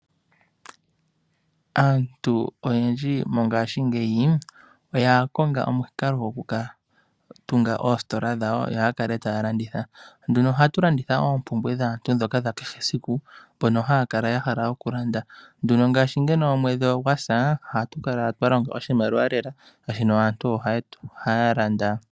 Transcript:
Aantu oyendji mongaashingeyi oya konga omukalo gokutunga oositola dhawo yo yakale taya landitha oompumbwe dhaantu dhakehe esiku mbyono haya kala yahala okulanda. Ngele omwedhi gwasa ohatu kala twalonga oshimaliwa lela oshoka aantu otaya landa.